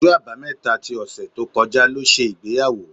Ọjọ́ Àbámẹ́ta ti ọ̀sẹ̀ tó kọjá ṣe ìgbéyàwó.